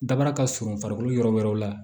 Daba ka surun farikolo yɔrɔ wɛrɛw la